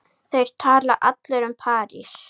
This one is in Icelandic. Þeir tala allir um París.